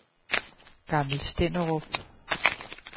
Gammel Stenderup